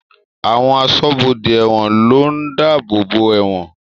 Àwọn aṣọ́bodè ẹ̀wọ̀n ló ń dáàbòbò ẹ̀wọ̀n